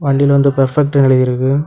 வண்டில வந்து பர்ஃபெக்ட்னு எழுதிருக்கு.